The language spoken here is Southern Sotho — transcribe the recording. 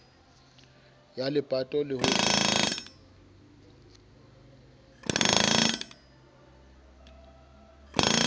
ya lepato le ho tloswa